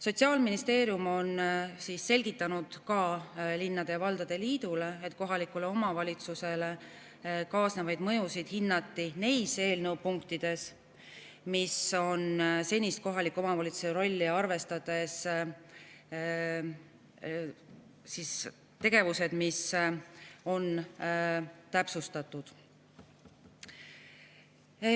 Sotsiaalministeerium on selgitanud ka linnade ja valdade liidule, et kohalikule omavalitsusele kaasnevaid mõjusid hinnati neis eelnõu punktides, kus on senist kohaliku omavalitsuse rolli arvestades tegevusi täpsustatud.